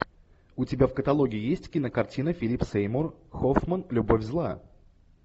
у тебя в каталоге есть кинокартина филип сеймур хоффман любовь зла